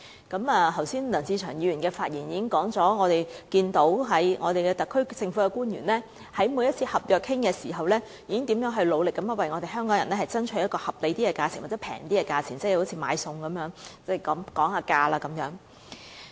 剛才梁志祥議員已在其發言中提到，我們可看到特區政府官員在每次商討合約時，如何努力為香港人爭取一個合理或較便宜的價錢，正如買菜時議價一般。